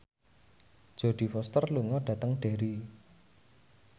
Jodie Foster lunga dhateng Derry